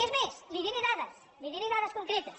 és més li diré dades li diré dades concretes